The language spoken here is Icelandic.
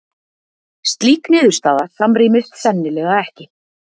Slík niðurstaða samrýmist sennilega ekki